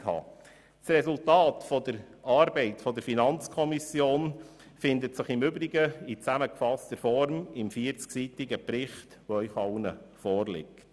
Das Resultat der Arbeit der FiKo findet sich im Übrigen im zusammengefassten 40-seitigen Bericht, der Ihnen allen vorliegt.